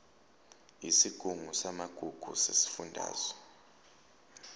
yesigungu samagugu sesifundazwe